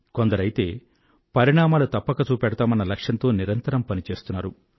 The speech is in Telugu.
కొందరైతే పరిణామాలు తప్పక చూపెడతామన్న లక్ష్యంతో నిరంతరం పని చేస్తున్నారు